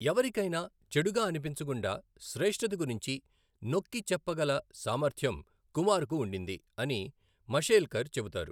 ఎవరికైనా చెడుగా అనిపించకుండా శ్రేష్ఠత గురించి నొక్కి చెప్పగల సామర్థ్యం కుమార్కు ఉండింది అని మషేల్కర్ చెబుతారు.